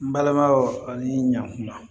N balimaw ani ɲankuma